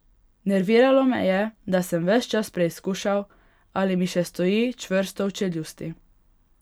Nerviralo me je, da sem ves čas preizkušal, ali mi še stoji čvrsto v čeljusti.